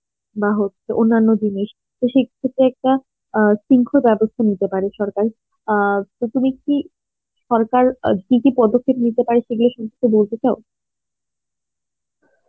হচ্ছে অন্যান্য জিনিস তো একটা অ্যাঁ শৃঙ্খ বেবস্থা নিতে পারে সরকার অ্যাঁ তো তুমি কি সরকার কি কি পদক্ষেপ নিতে পারে সেগুলো সমস্ত বলতে চাও